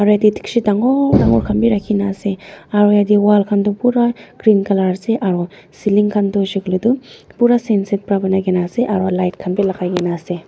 aru yatae dikchi dangor dangor khan bi rakhi na ase aro yatae wall khan pura green colour ase aro ceiling khan tu hoishey koilae tu pura aro light khan bi lakaikaena ase.